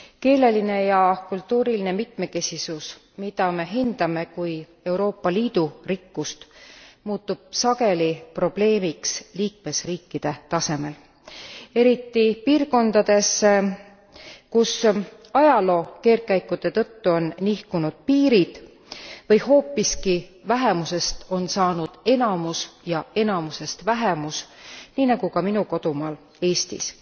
Keeleline ja kultuuriline mitmekesisus, mida me hindame kui Euroopa Liidu rikkust, muutub sageli probleemiks liikmesriikide tasemel. Eriti piirkondades, kus ajaloo keerdkäikude tõttu on nihkunud piirid või hoopiski vähemusest on saanud enamus ja enamusest vähemus, nii nagu ka minu kodumaal Eestis.